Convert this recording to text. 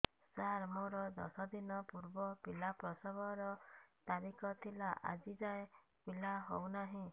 ସାର ମୋର ଦଶ ଦିନ ପୂର୍ବ ପିଲା ପ୍ରସଵ ର ତାରିଖ ଥିଲା ଆଜି ଯାଇଁ ପିଲା ହଉ ନାହିଁ